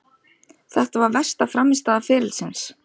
Þetta var versta frammistaða ferilsins.